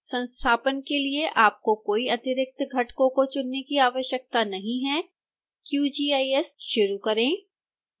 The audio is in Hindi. संस्थापन के लिए आपको कोई अतिरिक्त घटकों को चुनने की आवश्यकता नहीं है qgis शुरू करें